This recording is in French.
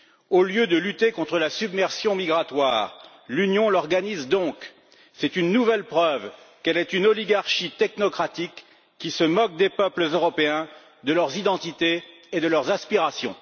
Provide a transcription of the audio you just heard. Au lieu de lutter contre la submersion migratoire, l'Union l'organise donc. C'est une nouvelle preuve qu'elle est une oligarchie technocratique qui se moque des peuples européens, de leurs identités et de leurs aspirations.